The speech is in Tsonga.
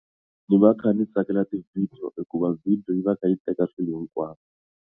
Ni va ndzi kha ni tsakela ti video hikuva video yi va yi kha yi teka swilo hinkwaswo.